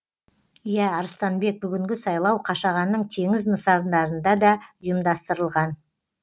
иә арыстанбек бүгінгі сайлау қашағанның теңіз нысандарында да ұйымдастырылған